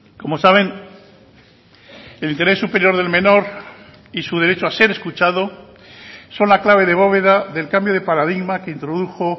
como saben el interés superior del menor y su derecho a ser escuchado son la clave de bóveda del cambio de paradigma que introdujo